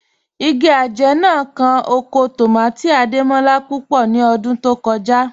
Ìgì ajẹ̀ náà kàn ọkọ̀ tómátì̀ Adémọlá púpọ̀ ní ọ̀dún tó kọja